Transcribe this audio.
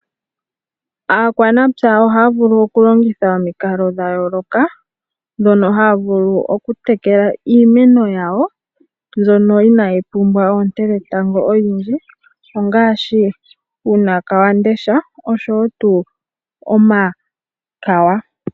Aakwanepya ohaya vulu okulongitha omikalo dha yooloka ndhono haya vulu okutekela iimeno yawo mbyono inayi pumbwa oonete dhetango odhindji ongaashi uuna wamundesha noshowo tuu